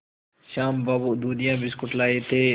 श्याम बाबू दूधिया बिस्कुट लाए थे